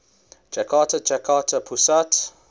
jakarta jakarta pusat